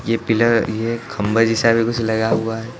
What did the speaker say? ये पिलर ये खंबे जैसा भी कुछ लगा हुआ है।